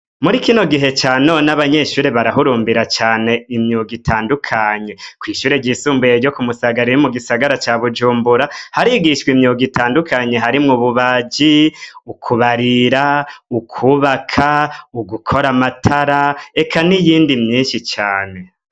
Muri ikino gihe canone abanyeshure barahurumbira cane imyuga itandukanye kw'ishure ryisumbuye ryo ku musagarairi mu gisagara ca bujumbura harigishwa imyuga itandukanyi harimwo ububaji ukubarira ukwubaka ugukora amatara eka ni iyindi myinshi cane.